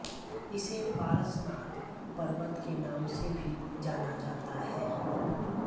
इसे पारसनाथ पर्वत के नाम से भी जाना जाता है